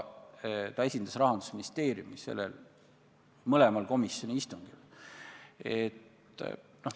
Ta esindas Rahandusministeeriumi mõlemal komisjoni istungil.